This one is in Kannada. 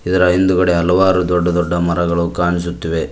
ಇದರ ಹಿಂದುಗಡೆ ಹಲವಾರು ದೊಡ್ಡ ದೊಡ್ಡ ಮರಗಳು ಕಾಣಿಸುತ್ತಿವೆ.